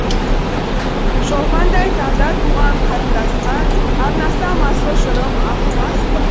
шолпандай таңда туған қарындасқа арнасам асыл жырым ағылмас па